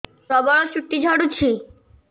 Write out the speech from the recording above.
ପ୍ରବଳ ଚୁଟି ଝଡୁଛି